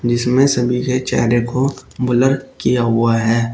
इसमें सभी के चेहरे को ब्लर किया हुआ है।